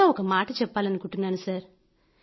చివరగా ఒక మాట చెప్పాలనుకుంటున్నాను సర్